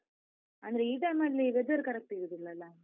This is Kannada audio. ಅಂದ್ರೆ ಈ time ಅಲ್ಲಿ weather correct ಇರುದಿಲ್ಲಲ್ಲ?